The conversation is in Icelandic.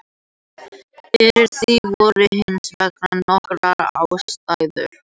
Fyrir því voru hins vegar nokkrar ástæður.